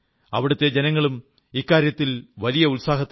അവിടത്തെ ജനങ്ങളും ഇക്കാര്യത്തിൽ വലിയ ഉത്സാഹത്തിലാണ്